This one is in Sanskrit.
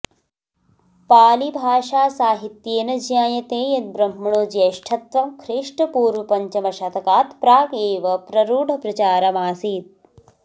पालिभाषासाहित्येन ज्ञायते यद् ब्रह्मणो ज्यैष्ठत्वं ख्रीष्टपूर्वपञ्चमशतकात् प्रागेव प्ररूढप्रचारमासीत्